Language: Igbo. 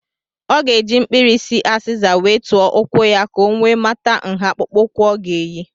Ọ ga-eji mkpirisi azịza wee tụọ ụkwụ ya ka ọ wee mata nha akpụkpụụkwụ ọ ga eyi.